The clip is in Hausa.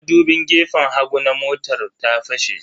Madubin gefen hagu na motar ta fashe.